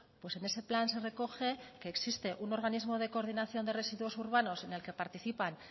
pues en ese plan se recoge que existe un organismo de coordinación de residuos urbanos en el que participan